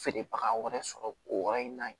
Feerebaga wɛrɛ sɔrɔ o yɔrɔ in na yen